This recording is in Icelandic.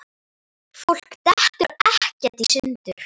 Fólk dettur ekkert í sundur.